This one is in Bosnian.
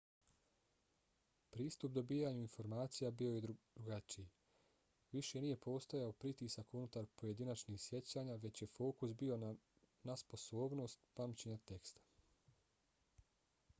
pristup dobijanju informacija bio je drugačiji. više nije postojao pritisak unutar pojedinačnih sjećanja već je fokus bio nasposobnostt pamćenja teksta